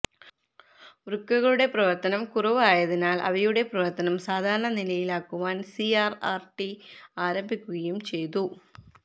വൃക്കകളുടെ പ്രവർത്തനം കുറവ് ആയതിനാൽ അവയുടെ പ്രവർത്തനം സാധാരണ നിലയിൽ ആക്കുവാൻ സിആർആർടി ആരംഭിക്കുകയും ചെയ്തു